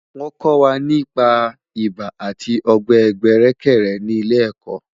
Wọ́n kọ́ wa nípa ibà àti ọ̀gbẹ̀ẹ̀gbẹ̀rẹ̀kẹ̀rẹ̀ ní ilé ẹ̀kọ́